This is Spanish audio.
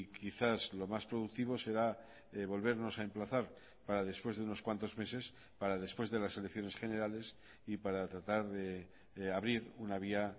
quizás lo más productivo será volvernos a emplazar para después de unos cuantos meses para después de las elecciones generales y para tratar de abrir una vía